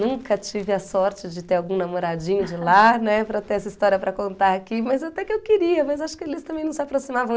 Nunca tive a sorte de ter algum namoradinho de lá, né, para ter essa história para contar aqui, mas até que eu queria, mas acho que eles também não se aproximavam.